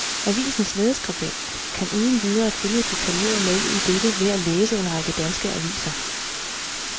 Avisens lederskribent kan uden videre følge detaljeret med i dette ved at læse en række danske aviser.